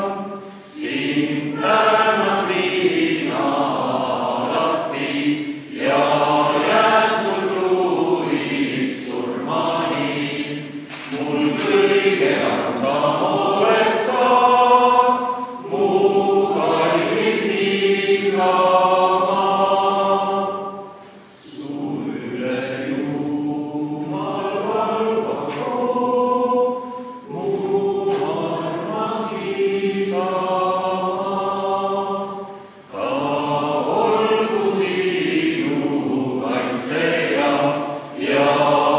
Kuna vabariigi juubelinädal on lähipäevadel kulmineerumas, aga meie suure saali töö siin on täna viimast päeva sünnipäevanädalal, siis meile on külla tulnud Tallinna Kammerkoori, Tallinna Rotary Klubi Segakoori ja segakoori K.O.O.R lauljad.